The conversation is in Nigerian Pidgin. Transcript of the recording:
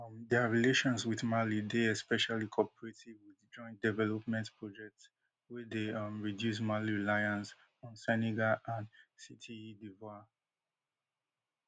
um dia relations wit mali dey especially cooperative wit joint development projects wey dey um reduce mali reliance on senegal and cte divoire